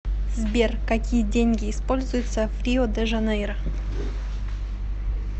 сбер какие деньги используются в рио де жанейро